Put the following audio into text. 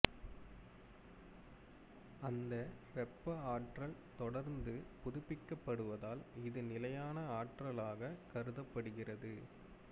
அந்த வெப்ப ஆற்றல் தொடர்ந்து புதிப்பிக்கப்படுவதால் இது நிலையான ஆற்றலாக கருதப்படுகிறது